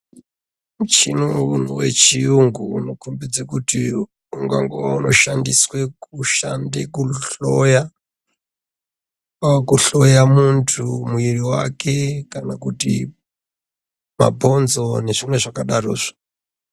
Muchini uyo wechiyungu unokombidze kuti ungangove unoshandiswe kushande kuhloya- kwakuhloya muntu muiri wake, kana kuti mabhonzo nezvimwe zvakadarozvo.